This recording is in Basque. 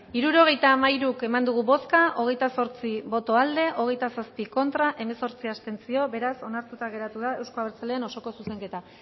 hirurogeita hamairu eman dugu bozka hogeita zortzi boto aldekoa hogeita zazpi contra hemezortzi abstentzio beraz onartuta geratu da euzko abertzaleen osoko zuzenketa